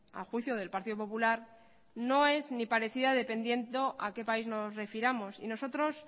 a juicio del partido popular no es ni parecida dependiendo a qué país nos refiramos y nosotros